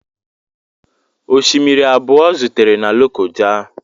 Osimiri abụọ zutere na Lokoja.